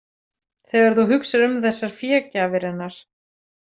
Þegar þú hugsar um þessar fégjafir hennar.